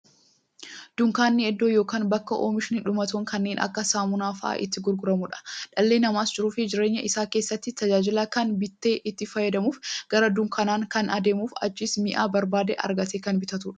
Dunkaanni iddoo yookiin bakka oomishni dhumatoon kanneen akka saamunaa faa'a itti gurguramuudha. Dhalli namaas jiruuf jireenya isaa keessatti, tajaajila kana bitee itti fayyadamuuf, gara dunkaanaa kan deemuufi achiis mi'a barbaade argatee kan bitatuudha.